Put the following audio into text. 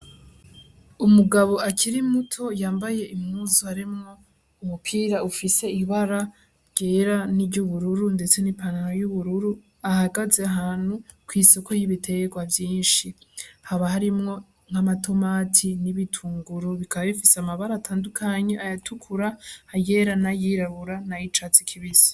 Umugabo akiri muto yambaye imuzu aremwo umupira ufise ibara ryera n'iryo ubururu, ndetse n'ipantana y'ubururu ahagaze hanu kw'isoko y'ibiterwa vyinshi haba harimwo nk'amatomati n'ibitunguru bikabifise amabara atandukanye ayatukura hagie era na yirabura nayicatse ikibisa.